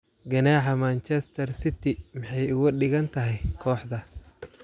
Ganaaxa Manchester City: maxay uga dhigan tahay kooxda?